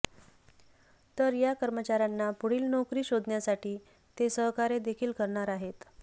तर या कर्मचाऱ्यांना पुढील नोकरी शोधण्यासाठी ते सहकार्य देखील करणार आहेत